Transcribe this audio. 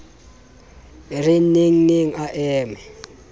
e re nengneng a eme